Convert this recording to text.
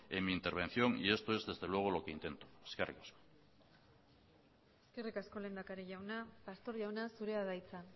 en mi intervención y esto es desde luego lo que intento eskerrik asko eskerrik asko lehendakari jauna pastor jauna zurea da hitza